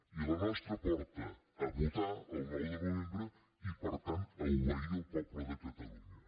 i la nostra porta a votar el nou de novembre i per tant a obeir el poble de català